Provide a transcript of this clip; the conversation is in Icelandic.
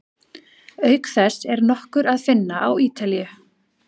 Auk þess er nokkur að finna á Ítalíu.